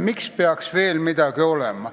miks peaks veel midagi tegema.